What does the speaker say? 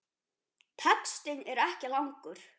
Textinn er ekki langur.